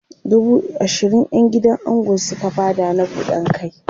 dubu ashirin ƴan gidan ango Suka Bada na buɗan kai